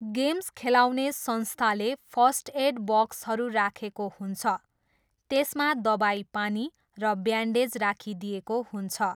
Games खेलाउने संस्थाले first aid बक्सहरू राखेको हुन्छ, त्यसमा दबाईपानी र ब्यान्डेज राखिदिएको हुन्छ।